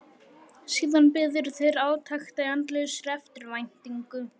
Síðan biðu þeir átekta í andlausri eftirvæntingu.